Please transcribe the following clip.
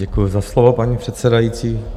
Děkuju za slovo, paní předsedající.